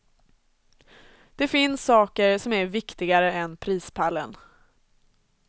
Det finns saker som är viktigare än prispallen.